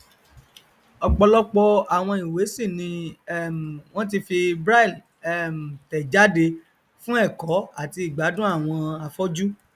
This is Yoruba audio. ọpọlọpọ àwọn ìwé sì ni um wọn ti fi braille um tẹ jáde fún ẹkọ àti ìgbádùn àwọn afọjú